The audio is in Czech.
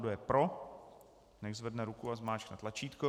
Kdo je pro, nechť zvedne ruku a zmáčkne tlačítko.